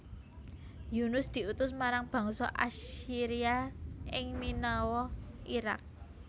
Yunus diutus marang bangsa Assyria ing Ninawa Iraq